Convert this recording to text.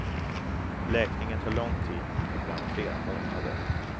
Läkningen tar lång tid, ibland flera månader.